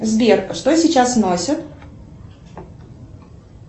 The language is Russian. сбер что сейчас носят